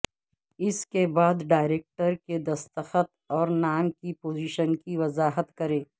اس کے بعد ڈائریکٹر کے دستخط اور نام کی پوزیشن کی وضاحت کریں